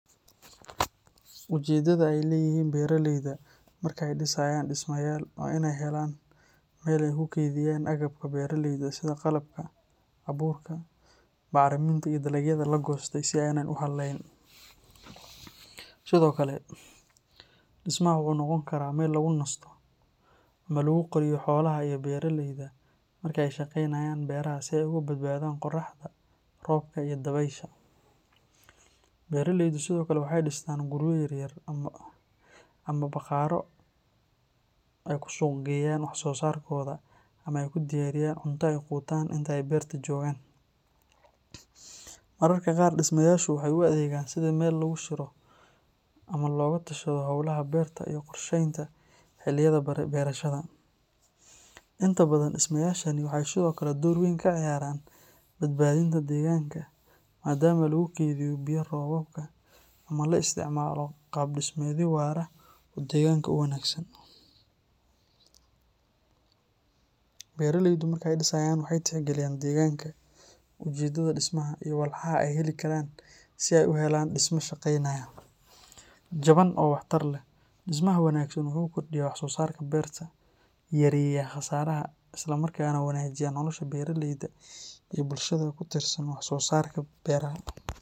Ujeeddada ay leeyihiin beeraleyda marka ay dhisayaan dhismayaal waa inay helaan meel ay ku kaydiyaan agabka beeraleyda sida qalabka, abuurka, bacriminta iyo dalagyada la goostay si aanay u hallayn. Sidoo kale, dhismaha waxa uu noqon karaa meel lagu nasto ama lagu qariyo xoolaha iyo beeraleyda marka ay ka shaqeynayaan beeraha si ay uga badbaadaan qorraxda, roobka iyo dabaysha. Beeraleydu sidoo kale waxay dhistaan guryo yar yar ama bakhaarro ay ku suuq geeyaan wax soo saarkooda ama ay ku diyaariyaan cunto ay quutaan inta ay beerta joogaan. Mararka qaar, dhismayaashu waxay u adeegaan sidii meel lagu shiro ama looga tashado howlaha beerta iyo qorsheynta xilliyada beerashada. Inta badan, dhismayaashani waxay sidoo kale door weyn ka ciyaaraan badbaadinta deegaanka maadaama lagu keydiyo biyo roobaadka ama la isticmaalo qaab dhismeedyo waara oo deegaanka u wanaagsan. Beeraleydu markay dhisayaan waxay tixgeliyaan deegaanka, ujeeddada dhismaha, iyo walxaha ay heli karaan si ay u helaan dhisme shaqaynaya, jaban oo waxtar leh. Dhismaha wanaagsan wuxuu kordhiyaa wax-soosaarka beerta, yareeyaa khasaaraha, isla markaana wanaajiya nolosha beeraleyda iyo bulshada ku tiirsan wax-soosaarka beeraha.